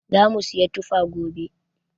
Zamu siyi tufa gobe.